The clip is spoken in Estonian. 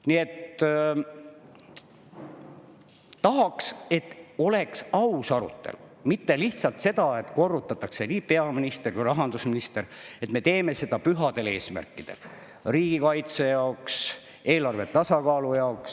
Nii et tahaks, et oleks aus arutelu, mitte lihtsalt nii, et korrutatakse – ja seda teevad nii peaminister kui ka rahandusminister –, et me teeme seda pühadel eesmärkidel: riigikaitse jaoks, eelarve tasakaalu jaoks.